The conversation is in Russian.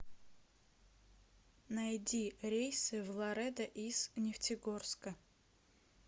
найди рейсы в ларедо из нефтегорска